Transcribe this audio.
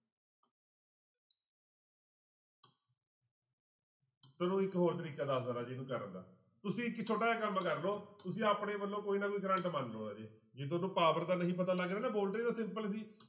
ਤੁਹਾਨੂੰ ਇੱਕ ਹੋਰ ਤਰੀਕਾ ਦੱਸਦਾਂ ਰਾਜੇ ਇਹਨੂੰ ਕਰਨ ਦਾ ਤੁਸੀਂ ਇੱਕ ਛੋਟਾ ਜਿਹਾ ਕੰਮ ਕਰ ਲਓ ਤੁਸੀਂ ਆਪਣੇ ਵੱਲੋਂ ਕੋਈ ਨਾ ਕੋਈ ਕਰੰਟ ਮੰਨ ਲਓ ਰਾਜੇ ਜੇ ਤੁਹਾਨੂੰ power ਦਾ ਨਹੀਂ ਪਤਾ ਲੱਗ ਰਿਹਾ ਨਾ voltage ਤਾਂ simple ਸੀ।